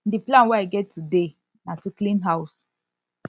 the plan wey i get today na to clean house